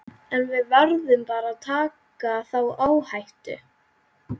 En við verðum bara að taka þá áhættu.